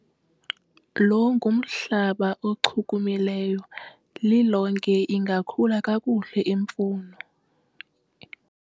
lo ngumhlaba ochumileyo, lilonke ingakhula kakuhle imfuno